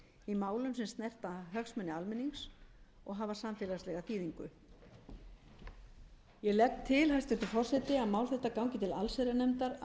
í málum sem snerta hagsmuni almennings og hafa samfélagslega þýðingu ég legg til hæstvirtur forseti að mál þetta gangi til allsherjarnefndar að